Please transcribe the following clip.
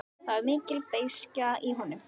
Það var mikil beiskja í honum.